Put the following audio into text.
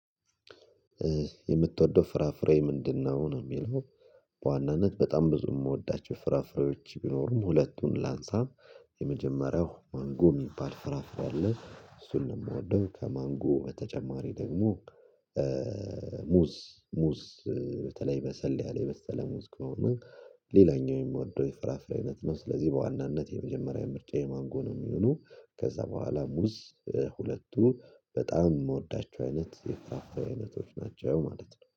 የምትወደው ፍራፍሬ ምንድነው ነው? የሚለው በዋናነት በጣም ብዙ የምወዳቸው ፍራፍሬዎች ቢኖሩም ሁለቱን ላንሳ የመጀመሪያው ማንጎ የሚባል ፍራፍሬ አለ እሱን ነው የምወደው ከማንጎ በተጨማሪ ደግሞ። ሙዝ ሙዝ በተለይ በሰል ያለ የሰለ ሙዝ ከሆነ። ሌላኛው የምወደው የፍራፍሬ አይነት ነው ስለዚህ በዋናነት የመጀመሪያ ምርጫዬ ማንጎ ነው። የሚሆኑ ከዛ በኋላ ሙዝ። ሁለቱ በጣም የምወዳቸው አይነት የፍራፍሬ አይነቶች ናቸው ማለት ነው